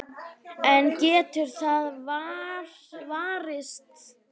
En getur það varist?